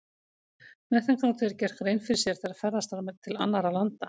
Með þeim gátu þeir gert grein fyrir sér þegar ferðast var til annarra landa.